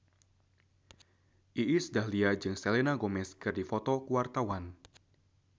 Iis Dahlia jeung Selena Gomez keur dipoto ku wartawan